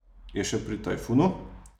Je še pri Tajfunu?